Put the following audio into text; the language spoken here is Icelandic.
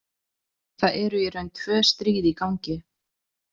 Það eru í raun tvö stríð í gangi.